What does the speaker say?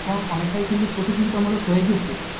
এখন যে অনেকটাই প্রতিযোগিতামূলক হয়ে গেছে,